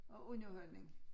Og underholdning